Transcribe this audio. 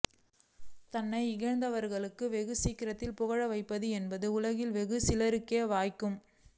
தன்னை இகழ்ந்தவர்களை வெகு சீக்கிரத்தில் புகழ வைப்பது என்பது உலகில் வெகு சிலருக்கே வாய்க்கும்